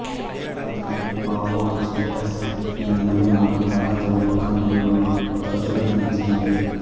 భారత నెమలి పావో క్రిస్టేటస్ ఈ నెమలి మనకు భారత ఉప ఖండంలో తరుచుగా కనిపిస్తుంది